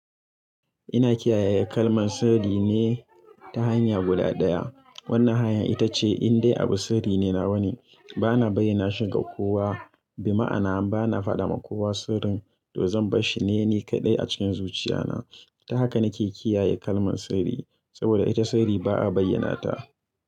Ina kiyaye kalman sirri ne, ta hanya guda ɗaya. Wannan hanyar ita ce in dai abu sirri ne na wane, bana bayyana shi ga kowa. Bima'ana bana fada ma kowa sirrin, to zan barshi ne ni kaɗai a cikin zuciya na. Ta haka nake kiyaye kalman sirri, saboda ita sirri ba'a bayyana ta.